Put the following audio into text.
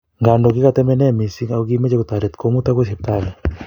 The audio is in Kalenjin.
ngando kikatomenee missing ako kimechei kotaret komut akoi hospitali